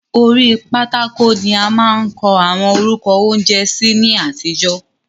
Orí pátákò ni a máa ń kọ àwọn orúkọ oúnjẹ sí ní àtijọ́.